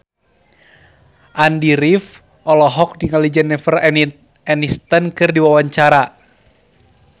Andy rif olohok ningali Jennifer Aniston keur diwawancara